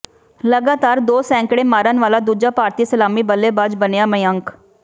ਲਗਾਤਾਰ ਦੋ ਸੈਂਕੜੇ ਮਾਰਨ ਵਾਲਾ ਦੂਜਾ ਭਾਰਤੀ ਸਲਾਮੀ ਬੱਲੇਬਾਜ਼ ਬਣਿਆ ਮਯੰਕ